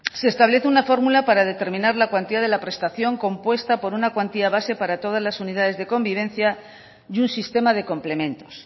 se establece una fórmula para determinar la cuantía de la prestación compuesta por una cuantía base para todas las unidades de convivencia y un sistema de complementos